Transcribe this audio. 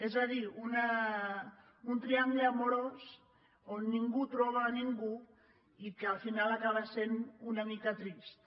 és a dir un triangle amorós on ningú troba ningú i que al final acaba sent una mica trist